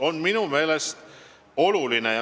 See on minu meelest oluline.